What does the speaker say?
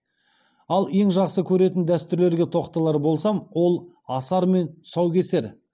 ал ең жақсы көретін дәстүрлерге тоқталар болсам ол асар мен тұсаукесер